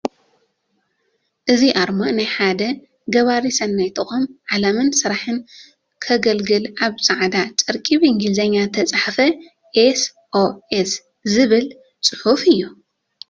እዚ ኣርማ ናይ ሓደ ገባሪ ሰናይ ተቋም ዕላማን ስራሕን ከገልግል ኣብ ፃዕዳ ጨርቂ ብአንግሊዝኛ ዝተፃሕፈ ኤስ ኦ ኤስ ዝብል ፅሑፍ እዩ፡፡